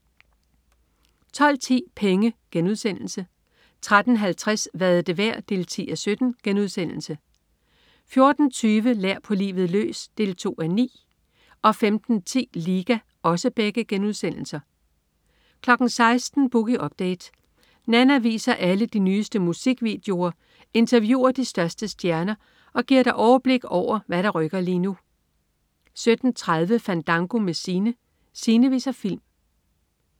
12.10 Penge* 13.50 Hvad er det værd? 10:17* 14.20 Lær på livet løs 2:9* 15.10 Liga* 16.00 Boogie Update. Nanna viser alle de nyeste musikvideoer, interviewer de største stjerner og giver dig overblik over, hvad der rykker lige nu 17.30 Fandango med Sine. Sine viser film